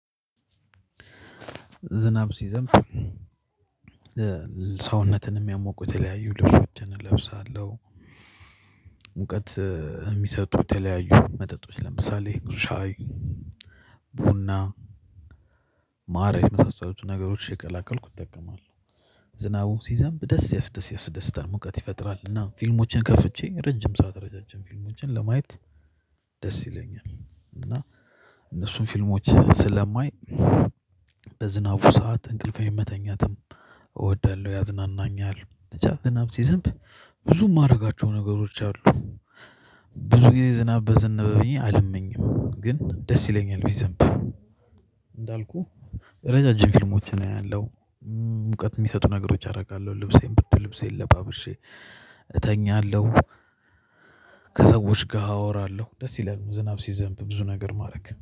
ዝናብ ሲዘንብ ሰውነትን የሚያሞቁ የተያዩ ልብሶችን እለብሳለው። ሙቀት የሚሰጡ የተለያዩ መጠጦች ለምሳሌ ብዙ ሻይ ቡና ማረግ ነው የመሳሰሉትን ነገሮች እየቀላቀልኩ እጠቀማለው። ዝናቡ ሲዘንብ ደስ ደስ ያስደስታል ሙቀት ይፈጥራል። እና ፊልሞችን ከፍቼ ረዥም ሰዓት ረዣዥም ፊልሞችን ለማየት ደስ ይለኛል እና እነሱን ፊልሞች ስለማይ በዝናቡ ሰዓት እንቅልፌን መተኛት እወዳለሁ ያዝናናኛል። ዝናብ ሲዘንብ ብዙ የማደርጋቸው ነገሮች አሉ። ብዙ ጊዜ ዝናብ በዘነበ ብዬ አልመኝም ግን ደስ ይለኛል ቢዘንብ። እንዳልኩህ ረዣዥም ፊልሞችን አያለው። ሙቀት የሚሰጡ ነገሮች አደርጋለሁ ልብሴን ብርድ ልብሴን ለባብሼ እተኛለሁ። ከሰዎች ጋር አወራለሁ ደስ ይላል። ዝናብ ሲዘንብ ብዙ ነገር ማድረግ